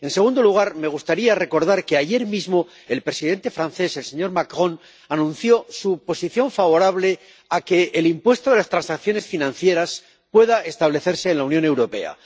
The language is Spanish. En segundo lugar, me gustaría recordar que, ayer mismo, el presidente francés, el señor Macron, anunció su posición favorable a que el impuesto sobre las transacciones financieras pueda establecerse en la Unión Europea.